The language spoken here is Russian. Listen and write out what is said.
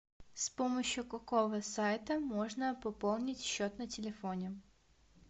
с помощью какого сайта можно пополнить счет на телефоне